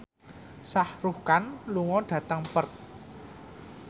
Shah Rukh Khan lunga dhateng Perth